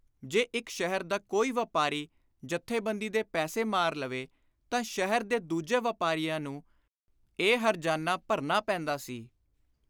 ਜੇ ਇਕ ਸ਼ਹਿਰ ਦਾ ਕੋਈ ਵਾਪਾਰੀ ਜਥੇਬੰਦੀ ਦੇ ਪੈਸੇ ਮਾਰ ਲਵੇ ਤਾਂ ਸ਼ਹਿਰ ਦੇ ਦੂਜੇ ਵਾਪਾਰੀਆਂ ਨੂੰ ਇਹ ਹਰਜਾਨਾ ਭਰਨਾ ਪੈਂਦਾ ਸੀ।